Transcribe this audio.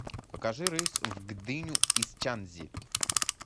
покажи рейс в гдыню из чанцзи